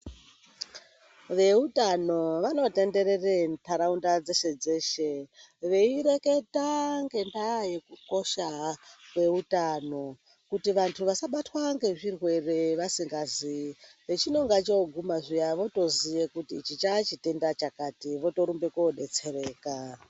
Veutano vanotenderera ndaraunda dzeshe dzeshe vaireketa ngendaa yekukosha kweutano kuti vantu vasabatwa ngechirwere vasingazivi ,pachinenge choguma wotoziya kuti ichi chaachitenda chakati wotorumba kudetsereka .